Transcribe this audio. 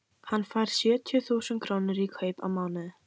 Hann fær sjötíu þúsund krónur í kaup á mánuði.